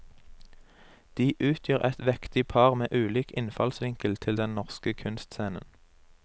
De utgjør et vektig par med ulik innfallsvinkel til den norske kunstscenen.